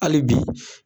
Hali bi